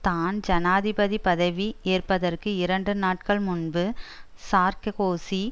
தான் ஜனாதிபதி பதவி ஏற்பதற்கு இரண்டு நாட்கள் முன்பு சார்க்கோசி